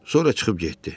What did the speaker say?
Sonra çıxıb getdi.